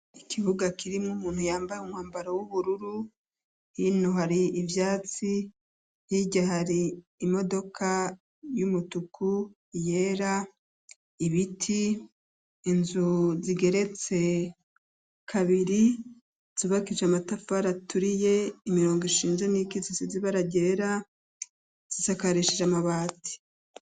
Ikibuga kirimwo umuntu yambaye umwambaro w'ubururu, hino hari ivyatsi hirya hari imodoka y'umutuku, iyera, ibiti, inzu zigeretse kabiri zubakishije amatafari aturiye imirongo ishinze n'iyikitse isize ibara ryera zisakarishije amabati.